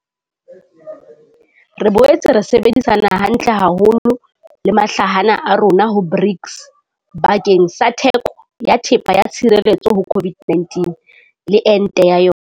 Re boetse ra sebedisana hantle haholo le mahlahana a rona ho BRICS bakeng sa theko ya thepa ya tshireletso ho COVID-19 le ente ya yona.